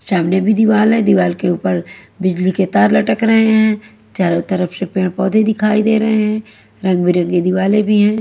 सामने भी दीवाल है दीवाल के ऊपर बिजली के तार लटक रहे हैं चारों तरफ से पेड़-पौधे दिखाई दे रहे हैं रंग-बिरंगी दिवाले भी हैं।